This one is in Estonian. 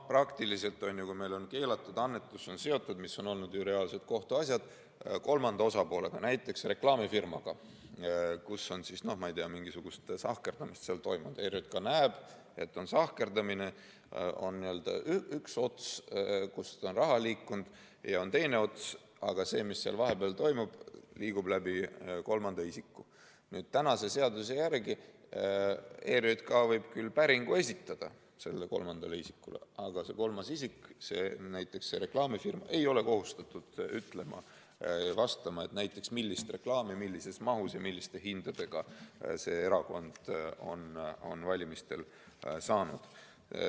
Praktiliselt on nii, et kui meil on keelatud annetus seotud – seda on ju olnud, need on reaalsed kohtuasjad – kolmanda osapoolega, näiteks reklaamifirmaga, kus on mingisugust sahkerdamist toimunud, ja ERJK näeb, et on sahkerdamine, on n-ö üks ots, kust on raha liikunud, ja on teine ots, aga vahepeal liigub see kolmanda isiku kaudu, siis seaduse järgi võib ERJK küll esitada päringu sellele kolmandale isikule, aga see kolmas isik, näiteks reklaamifirma, ei ole kohustatud vastama, näiteks millist reklaami, millises mahus ja milliste hindadega see erakond on valimistel saanud.